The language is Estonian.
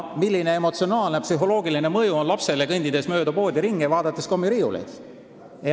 Milline on emotsionaalne ja psühholoogiline mõju lapsele, kes kõnnib mööda poodi ja vaatab kommiriiuleid?